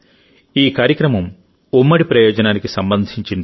ఈ కార్యక్రమం ఉమ్మడి ప్రయోజనానికి సంబంధించింది